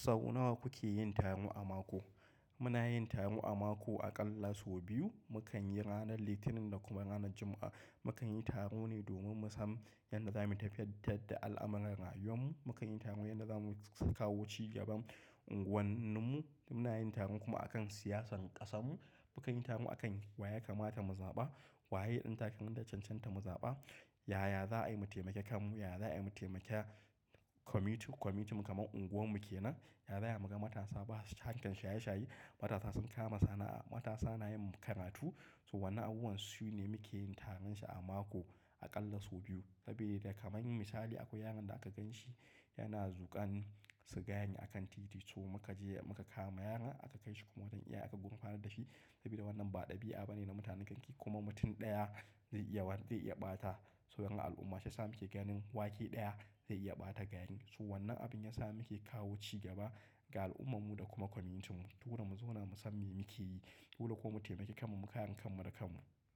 Sau nawa kuke yin taro a mako? Muna yin taro a mako aƙalla sau biyu. Mukan yi ranar Litinin da kuma ranar Juma'a. Mukan yi taro ne domin mu san yadda zamu tafiyar da al'amuran rayuwar mu. Mukan yi taro yadda za mu kawo cigaban unguwar mu. Muna yin taro kuma akan siyasar ƙasarmu. Mukan yi taro akan wa ya kamata mu zaɓa, waye ɗan takarar da ya cancanta mu zaɓa, yaya za'a yi mu taimaki kanmu, yaya za'a yi mu taimaki kwaminiti, kwaminitinmu kamar unguwar mu ke nan, yaya za mu ga matasa ba harkan shaye shaye. Matasa sun kama sana'a, matasa na yin karatu. So wannan abubuwan sune muke yin taron shi a mako aƙalla sau biyu. Saboda da kamar misali akwai yaron da aka gan shi yana zuƙan sigari akan titi. So muka je muka kama yaron aka kai shi kuma wajen iyaye aka gurfanar da shi. Saboda wannan ba ɗabi'a bane na mutanen garki kuma mutum ɗaya zai iya, zai iya ɓata so dangin al'umma sai muke ganin wake ɗaya zai iya ɓata gaya. So wannan abin ya sa muke kawo cigaba ga al'ummar mu da kuma kwaminitinmu. Don mu zauna mu san me muke yi, don kuma mu taimake kanmu, mu kayan kanmu da kanmu.